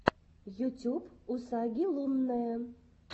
ютюб усаги лунная